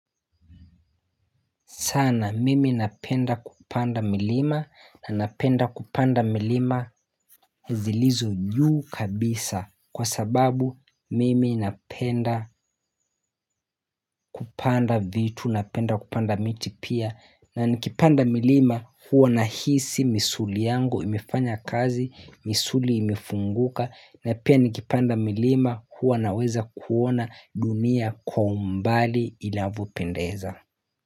Sana mimi napenda kupanda milima na napenda kupanda milima zilizo juu kabisa kwa sababu mimi napenda kupanda vitu napenda kupanda miti pia na nikipanda milima huwa nahisi misuli yangu imefanya kazi misuli imefunguka na pia nikipanda milima huwa naweza kuona dunia kwa umbali inavyopendeza.